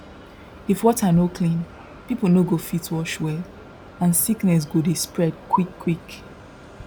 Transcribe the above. if water no clean people no go fit wash well and sickness go dey spread quickquick